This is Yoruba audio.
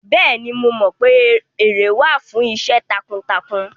Bẹ́ẹ̀ni, mo mọ pé ère wà fún iṣẹ́ takuntakun